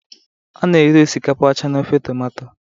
a na-eri osikapa ọcha na ofe tomato